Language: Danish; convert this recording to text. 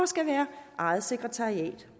skal være eget sekretariat